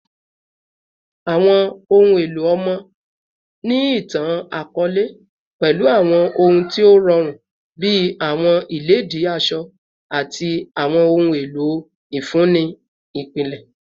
Awọn ohun elo ọmọ ni itan-akọọlẹ pẹlu awọn ohun ti o rọrun bi awọn iledìí asọ ati awọn ohun elo ifunni ipilẹ